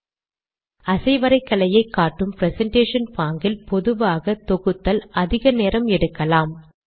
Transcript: நீங்கள் அசைவரைகலையை காட்டும் பிரசன்டேஷன் பாங்கில் பொதுவாக தொகுத்தல் அதிக நேரம் எடுக்கலாம்